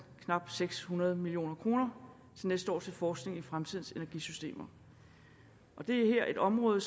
knap seks hundrede million kroner til næste år til forskning i fremtidens energisystemer det er et område